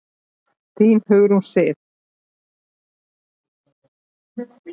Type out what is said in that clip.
Þín, Hugrún Sif.